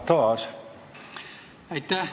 Aitäh!